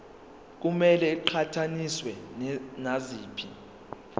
kumele iqhathaniswe naziphi